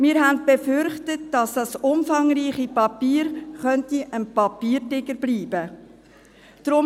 – Wir befürchteten, dass das umfangreiche Papier ein Papiertiger bleiben könnte.